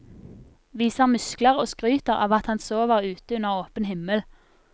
Viser muskler og skryter av at han sover ute under åpen himmel.